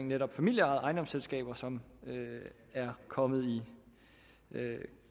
netop familieejede ejendomsselskaber som er kommet i